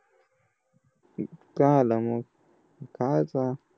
काय झालं मग? खायचं